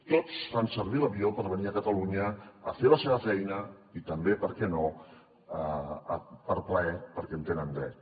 tots fan servir l’avió per venir a catalunya a fer la seva feina i també per què no per plaer perquè hi tenen dret